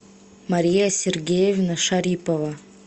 мария сергеевна шарипова